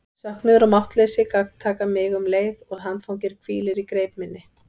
Söknuður og máttleysi gagntaka mig um leið og handfangið hvílir í greip minni.